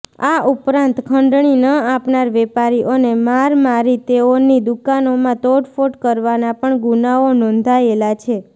આ ઉપરાંત ખંડણી ન આપનાર વેપારીઓને મારમારી તેઓની દુકાનોમાં તોડફોડ કરવાના પણ ગુનાઓ નોંધાયેલા છે